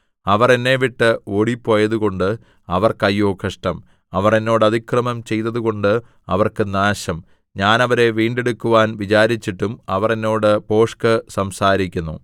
അവർ എന്നെ വിട്ട് ഓടിപ്പോയതുകൊണ്ട് അവർക്ക് അയ്യോ കഷ്ടം അവർ എന്നോട് അതിക്രമം ചെയ്തതുകൊണ്ട് അവർക്ക് നാശം ഞാൻ അവരെ വീണ്ടെടുക്കുവാൻ വിചാരിച്ചിട്ടും അവർ എന്നോട് ഭോഷ്ക് സംസാരിക്കുന്നു